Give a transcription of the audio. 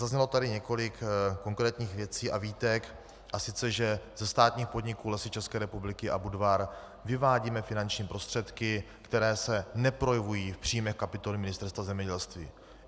Zaznělo tady několik konkrétních věcí a výtek, a sice že ze státních podniků Lesy České republiky a Budvar vyvádíme finanční prostředky, které se neprojevují v příjmech kapitoly Ministerstva zemědělství.